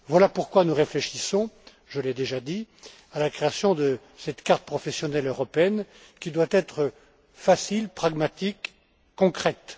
Voilà pourquoi nous réfléchissons je l'ai déjà dit à la création de cette carte professionnelle européenne, qui doit être facile, pragmatique, concrète.